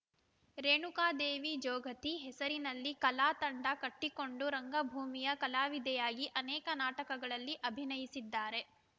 ರೇಣುಕಾದೇವಿ ಜೋಗತಿ ಹೆಸರಿನಲ್ಲಿ ಕಲಾ ತಂಡ ಕಟ್ಟಿಕೊಂಡು ರಂಗಭೂಮಿಯ ಕಲಾವಿದೆಯಾಗಿ ಅನೇಕ ನಾಟಕಗಳಲ್ಲಿ ಅಭಿನಯಿಸಿದ್ದಾರೆ